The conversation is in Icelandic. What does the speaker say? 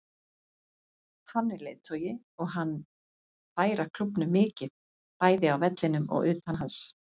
Hann er leiðtogi og hann færa klúbbnum mikið, bæði á vellinum og utan hans.